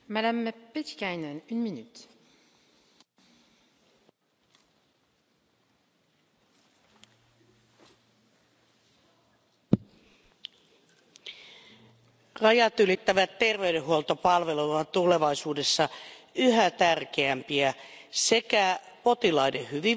Arvoisa puhemies, rajatylittävät terveydenhuoltopalvelut ovat tulevaisuudessa yhä tärkeämpiä sekä potilaiden hyvinvoinnin kannalta